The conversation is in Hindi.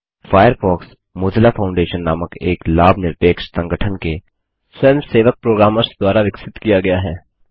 फ़ायरफ़ॉक्समोज़िला फाउंडेशन नामक एक लाभ निरपेक्ष संगठन के स्वयंसेवक प्रोग्रामर्स द्वारा विकसित किया गया है